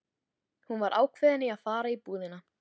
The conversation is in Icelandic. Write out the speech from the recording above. Hún var ákveðin í að finna búðina.